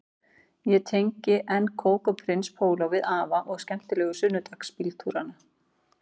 Ég tengi enn kók og prins póló við afa og skemmtilegu sunnudagsbíltúrana